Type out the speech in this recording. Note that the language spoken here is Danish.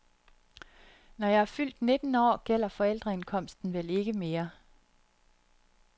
Når jeg er fyldt nitten år gælder forældreindkomsten vel ikke mere?